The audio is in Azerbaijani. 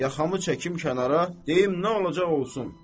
Yaxamı çəkim kənara, deyim nə olacaq olsun.